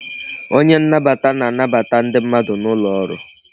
Onye nnabata na-anbata ndị mmadụ n'ụlọ ọrụ